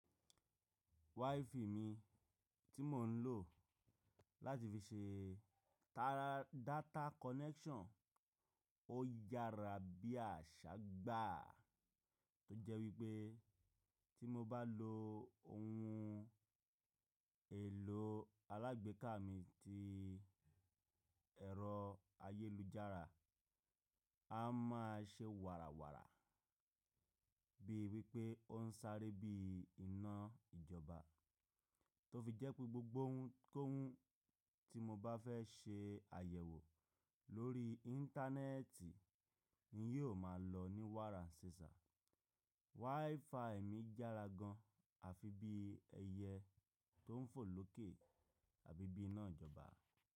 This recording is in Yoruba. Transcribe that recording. WiFi mi tí mò ń lò láti fi ṣe tara data connection ó yára bí àṣá gbà tó jẹ́ wípé tí mo bá lo ohun èlò alágbèéká mi tí ẹ̀rọ ayélujára a má a ṣe wàrà wàrà bíi wípé ó ń sáré bí i iná ìjọba tó fi jẹ́ pé gbogbo ohunkóhun tí mo bá fẹ́ ṣe àyẹ̀wò lórí íńtánẹ́ẹ̀tì ni yóò máa lọ ní wàrà ṣìṣà. WiFi mi yára gan àfi bí ẹyẹ tó ń fò lókè àbí bí iná ìjọba.